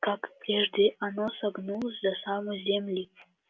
как и прежде оно согнулось до самой земли